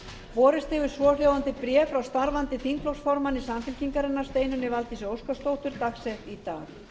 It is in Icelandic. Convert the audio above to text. borist hefur svohljóðandi bréf frá starfandi þingflokksformanni samfylkingarinnar steinunni valdísi óskarsdóttur dagsett í dag